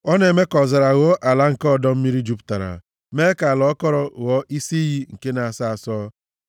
Ọ na-eme ka ọzara ghọọ ala nke ọdọ mmiri jupụtara mee ka ala akọrọ ghọọ isi iyi nke na-asọ asọ;